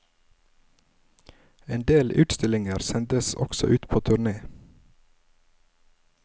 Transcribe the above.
En del utstillinger sendes også ut på turné.